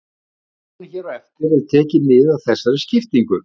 Í svarinu hér á eftir er tekið mið af þessari skiptingu.